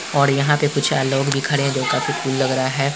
और यहां पे कुछ लोग भी खड़े है जो काफी कुल लग रहे हैं ।